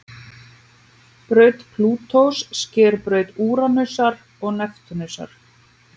Braut Plútós sker braut Úranusar og Neptúnusar.